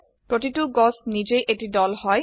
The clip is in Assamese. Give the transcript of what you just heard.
প্রতিটো গাছ নিজেই এটি দল হয়